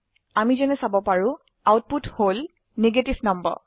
আমি যেনে চাব পাৰো আউটপুট হল নেগেটিভ নাম্বাৰ